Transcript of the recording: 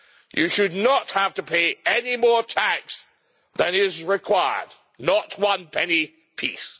You should not have to pay any more tax than is required not one penny piece.